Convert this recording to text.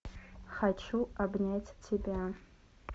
хочу обнять тебя